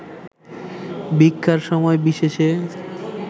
ভিক্ষার সময় বিশেষে